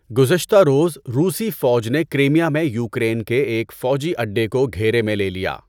گذشتہ روز، روسی فوج نے کرائمیا میں یوکرین کے ایک فوجی اڈے کو گھیرے میں لے لیا۔